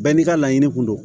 Bɛɛ n'i ka laɲini kun do